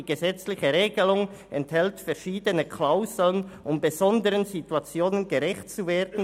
Die gesetzliche Regelung enthält verschiedene Klauseln, um besonderen Situationen gerecht zu werden.